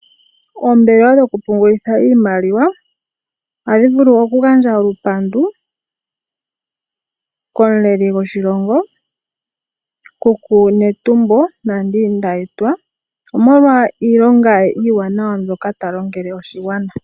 Oombelewa dhoku pungulitha iimaliwa ohadhi vulu oku gandja olupandu komuleli goshilongo kuku Netumbo Nandi Ndaitwah omolwa iilonga ye iiwanawa mbyoka ta longele oshigwana.